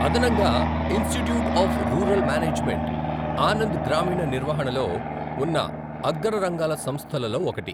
అదనంగా, institute of rural management Anand గ్రామీణ నిర్వహణలో ఉన్న అగ్ర రంగాల సంస్థలలో ఒకటి.